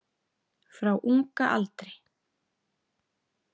Frá unga aldri.